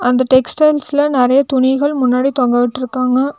இந்த டெக்ஸ்டைல்ஸ்ல நெறைய துணிகள் முன்னாடி தொங்க விட்ருக்காங்க.